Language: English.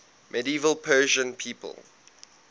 medieval persian people